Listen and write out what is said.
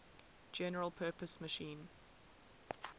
general purpose machine